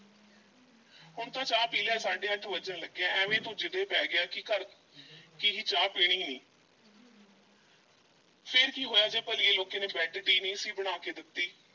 ਹੁਣ ਤਾਂ ਚਾਹ ਪੀ ਲੈ ਸਾਢੇ ਅੱਠ ਵੱਜਣ ਲੱਗੇ ਐ, ਐਵੇਂ ਤੂੰ ਜਿਦੇ ਪੈ ਗਿਆ ਕਿ ਘਰ ਕਿ ਚਾਹ ਪੀਣੀ ਨਹੀਂ ਫੇਰ ਕੀ ਹੋਇਆ ਜੇ ਭਲੀਏ ਲੋਕੇ ਨੇ bed tea ਨਹੀਂ ਸੀ ਬਣਾ ਕੇ ਦਿੱਤੀ।